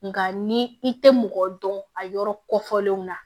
Nka ni i tɛ mɔgɔ dɔn a yɔrɔ kɔ fɔlenw na